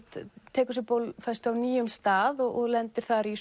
tekur sér bólfestu á nýjum stað og lendir þar í